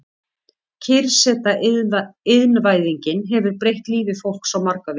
Kyrrseta Iðnvæðingin hefur breytt lífi fólks á marga vegu.